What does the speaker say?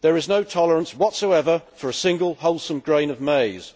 there is no tolerance whatsoever for a single wholesome grain of maize.